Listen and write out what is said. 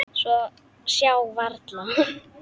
Sjá varla.